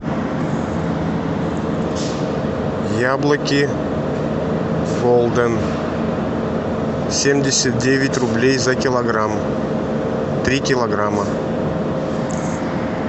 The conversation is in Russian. яблоки голден семьдесят девять рублей за килограмм три килограмма